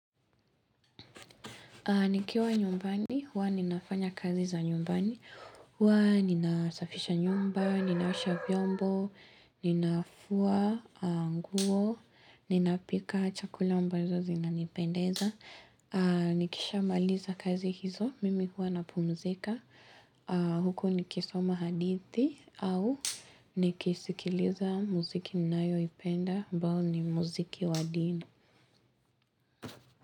Nikiwa nyumbani, huwa ninafanya kazi za nyumbani, huwa ninasafisha nyumba, ninaosha vyombo, ninafua nguo, ninapika chakula ambazo zinanipendeza. Nikisha maliza kazi hizo, mimi huwa napumzika, huku nikisoma hadithi, au nikisikiliza muziki ninayoipenda, ambao ni muziki wadini.